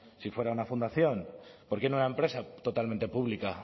si fuera una fundación por qué no una empresa totalmente pública